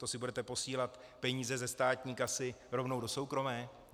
To si budete posílat peníze ze státní kasy rovnou do soukromé?